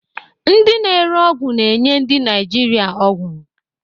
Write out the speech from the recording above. Ndị na-ere ọgwụ na-enye ndị Naijiria ọgwụ.